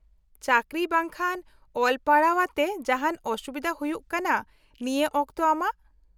-ᱪᱟᱠᱨᱤ ᱵᱟᱝᱠᱷᱟᱱ ᱚᱞ ᱯᱟᱲᱦᱟᱣ ᱟᱛᱮ ᱡᱟᱦᱟᱱ ᱚᱥᱩᱵᱤᱫᱷᱟ ᱦᱩᱭᱩᱜ ᱠᱟᱱᱟ ᱱᱤᱭᱟᱹ ᱚᱠᱛᱚ ᱟᱢᱟᱜ ?